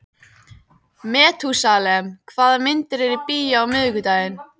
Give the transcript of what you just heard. Methúsalem, hvaða myndir eru í bíó á miðvikudaginn?